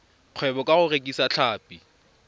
kgwebo ka go rekisa tlhapi